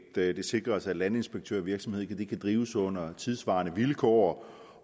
det sikres at landinspektørvirksomhed kan drives under tidssvarende vilkår